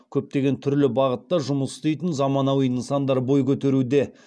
көптеген түрлі бағытта жұмыс істейтін заманауи нысандар бой көтеруде